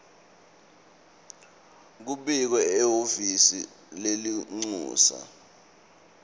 kubikwe ehhovisi lelincusa